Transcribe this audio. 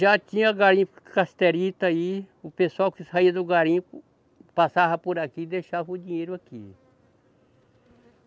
Já tinha garimpo casterita aí, o pessoal que saía do garimpo passava por aqui e deixava o dinheiro aqui.